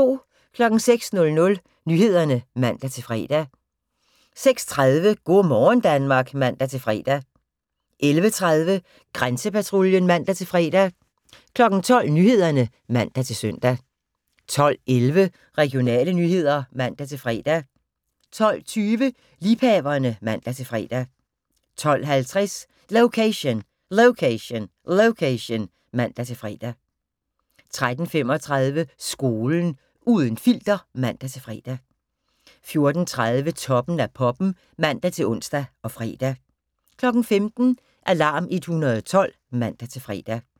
06:00: Nyhederne (man-fre) 06:30: Go' morgen Danmark (man-fre) 11:30: Grænsepatruljen (man-fre) 12:00: Nyhederne (man-søn) 12:11: Regionale nyheder (man-fre) 12:20: Liebhaverne (man-fre) 12:50: Location, Location, Location (man-fre) 13:35: Skolen – uden filter (man-fre) 14:30: Toppen af poppen (man-ons og fre) 15:00: Alarm 112 (man-fre)